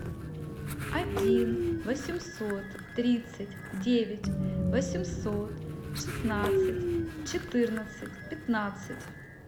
один восемьсот тридцать девять восемьсот шестнадцать четырнадцать пятнадцать